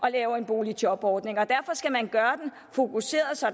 at lave en boligjobordning og derfor skal man gøre den fokuseret så